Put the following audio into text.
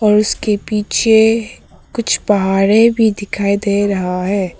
और उसके पीछे कुछ पहाड़े भी दिखाई दे रहा है।